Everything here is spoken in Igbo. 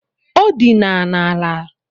ọ dina n'ala